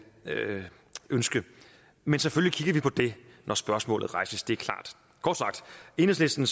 ønske men selvfølgelig kigger vi på det når spørgsmålet rejses det er klart kort sagt enhedslisten